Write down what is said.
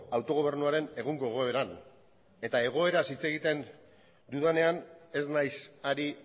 autogobernuaren egungo egoeran eta egoeraz hitz egiten dudanean ez naiz ari